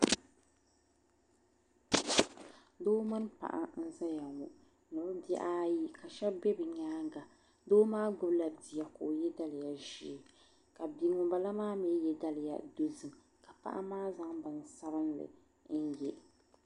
Doo mini paɣa n zaya ŋɔ ni bɛ bihi ayi ka sheba be bɛ nyaanga doo maa gbibi la bia ka ye daliya ʒee ka bia ŋunbala maa mee ye daliya dozim ka paɣa maa zaŋ bini sabinli n ye.